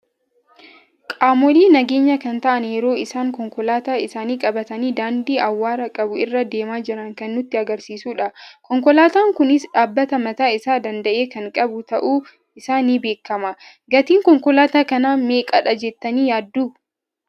Qaamoolee nageenya kan ta'aan yeroo isaan konkoolaata isaani qabatani daandii awwara qabu irra deema jiran kan nutti agarsiisudha. Konkoolaatan kunis dhaabbata mataa isaa danda'e kan qabu ta'un isaa ni beekama. Gatiin konkoolaata kana meeqadha jettani yaaddu?